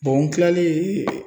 n kilalen